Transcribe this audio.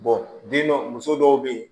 den dɔ muso dɔw be yen